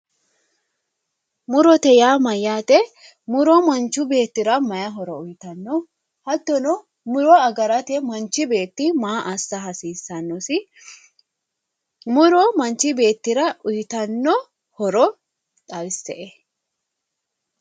murote yaa mayyaate muro manchu beettira mayi horo uyiitanno? hattono muro agarate manchi beetti maa assa hasiissannosi? muro manchi beettira uyiitanno horo xawisse''e.